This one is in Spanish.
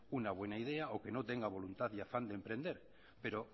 una buena idea o que no tenga voluntad y afán de emprender pero